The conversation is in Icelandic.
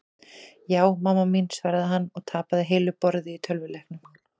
Ja, mamma mín svaraði hann og tapaði heilu borði í tölvuleiknum.